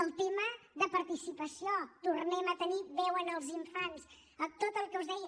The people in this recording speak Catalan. el tema de participació tornem a tenir veu en els infants tot el que us deia